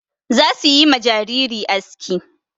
Za su yi ma jariri aski.